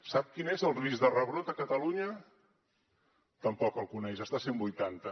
sap quin és el risc de rebrot a catalunya tampoc el coneix està a cent i vuitanta